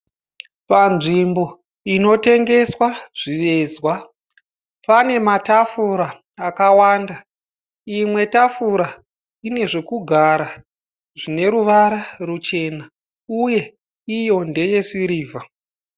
Panzvimbo inotengeswa zvivezwa . Pane matafura akawanda. Imwe tafura ine zvekugara zvine ruvara ruchena uye iyo ndeyesirivha.